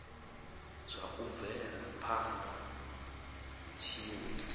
zwa u bvela phana tshiwe